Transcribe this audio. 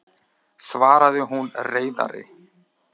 svaraði hún reiðari.